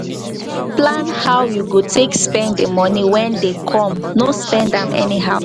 plan how you go take spend di money wey dey come no spend am anyhow